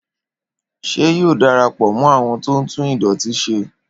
Ṣé yóò darapọ mọ awọn tó tún idọti se?